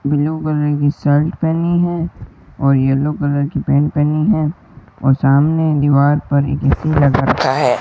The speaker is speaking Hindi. ब्ल्यू कलर की शर्ट पहनी है और येलो कलर की पैंट पहनी है और सामने एक दीवार पर एक ए_सी लगा रखा है।